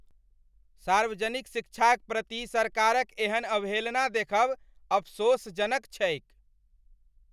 सार्वजनिक शिक्षाक प्रति सरकारक एहन अवहेलना देखब अफसोसजनक छैक ।